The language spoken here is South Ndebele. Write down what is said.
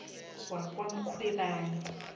wakwamkhwebani